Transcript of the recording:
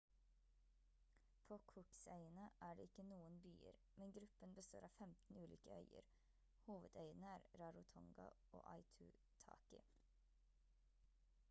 på cooksøyene er det ikke noen byer men gruppen består av 15 ulike øyer hovedøyene er rarotonga og aitutaki